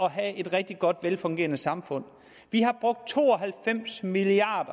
at have et rigtig godt velfungerende samfund vi har brugt to og halvfems milliard